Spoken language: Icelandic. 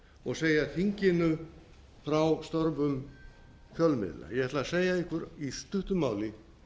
og segja þinginu frá störfum fjölmiðla ég ætla að segja ykkur í stuttu máli